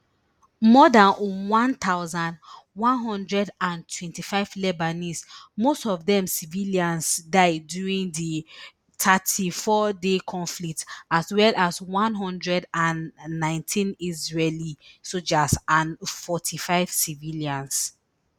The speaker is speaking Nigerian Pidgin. more dan one thousand, one hundred and twenty-five lebanese most of dem civilians die during di thirty-fourday conflict as well as one hundred and nineteen israeli soldiers and forty-five civilians